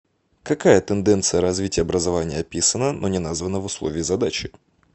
какая тенденция развития образования описана но не названа в условии задачи